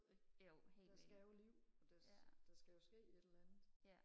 ik der skal jo liv og der der skal jo ske et eller andet